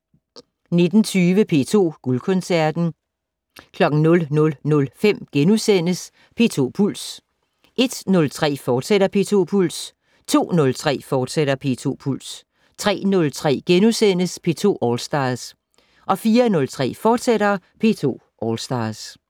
19:20: P2 Guldkoncerten 00:05: P2 Puls * 01:03: P2 Puls, fortsat 02:03: P2 Puls, fortsat 03:03: P2 All Stars * 04:03: P2 All Stars, fortsat